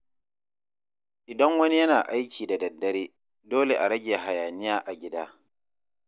Idan wani yana aiki da daddare, dole a rage hayaniya a gida.